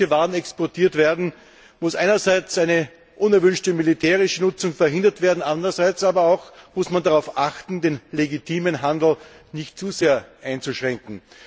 Wenn solche Waren exportiert werden, muss einerseits eine unerwünschte militärische Nutzung verhindert werden, andererseits muss man aber auch darauf achten, den legitimen Handel nicht zu sehr einzuschränken.